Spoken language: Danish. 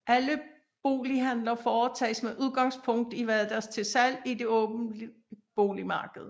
Alle bolighandler foretages med udgangspunkt i hvad der til salg i det åben boligmarked